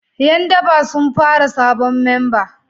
Yan daba sun fara sabon memba